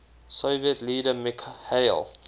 soviet leader mikhail